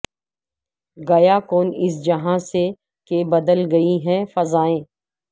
گیا کون اس جہاں سے کہ بدل گئی ہیں فضائیں